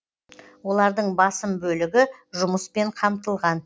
олардың басым бөлігі жұмыспен қамтылған